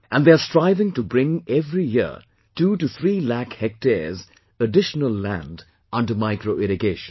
And they are striving to bring every year 2 to 3 lakh hectares additional land under micro irrigation